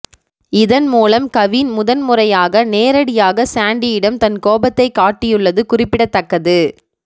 இதன் மூலம் கவின் முதன் முறையாக நேரடியாக சாண்டியிடம் தன் கோபத்தை காட்டியுள்ளது குறிப்பிடத்தக்கது